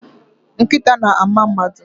Nkịta na-ama mmadụ.